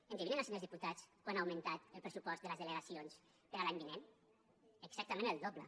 endevinen els senyors diputats quant ha augmentat el pressupost de les delegacions per a l’any vinent exactament el doble